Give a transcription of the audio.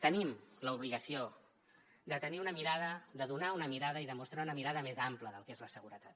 tenim l’obligació de tenir una mirada de donar una mirada i de mostrar una mirada més àmplia del que és la seguretat